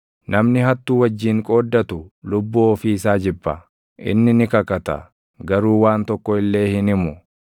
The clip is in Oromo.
Namni hattuu wajjin qooddatu lubbuu ofii isaa jibba; inni ni kakata; garuu waan tokko illee hin himu.